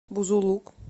бузулук